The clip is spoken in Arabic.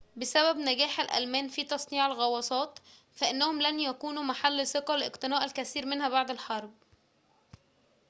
بسبب نجاح الألمان في تصنيع الغواصات فإنهم لم يكونوا محل ثقة لاقتناء الكثير منها بعد الحرب